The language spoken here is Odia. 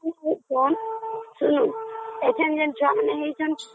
ଏବେ ଯେମିତି ଛୁଆମାନେ ହଉଛନ୍ତି train horn